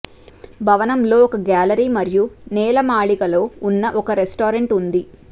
భవనం లో ఒక గ్యాలరీ మరియు నేలమాళిగలో ఉన్న ఒక రెస్టారెంట్ ఉంది